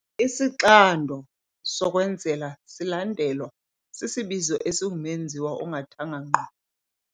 Isixando sokwenzela silandelwa sisibizo esingumenziwa ongathanga ngqo.